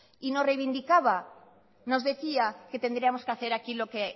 y nos reivindicaba nos decía que tendríamos que hacer aquí lo que